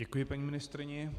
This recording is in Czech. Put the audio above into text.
Děkuji paní ministryni.